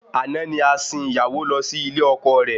Àná ni a sìn ìyàwó lọ sí ilé ọkọ rẹ